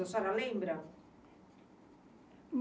A senhora lembra?